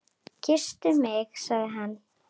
Kysstu mig sagði hann.